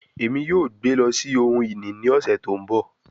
Emi yoo gbe lọ si ohun-ini ni ọsẹ to nbọ